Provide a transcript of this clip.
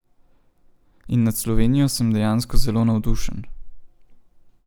In nad Slovenijo sem dejansko zelo navdušen.